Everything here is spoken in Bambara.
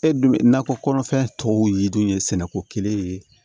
E dun bɛ nakɔ kɔnɔfɛn tɔw yiri dun ye sɛnɛko kelen ye